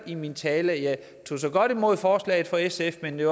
i min tale tog så godt imod forslaget fra sf men det